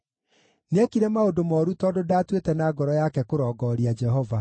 Nĩekire maũndũ mooru tondũ ndaatuĩte na ngoro yake kũrongooria Jehova.